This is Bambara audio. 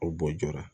O bɔ joona